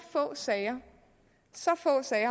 få sager